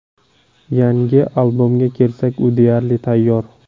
Yangi albomga kelsak, u deyarli tayyor.